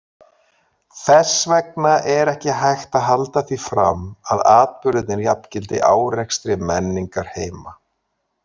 Þess vegna er ekki hægt að halda því fram að atburðirnir jafngildi árekstri menningarheima.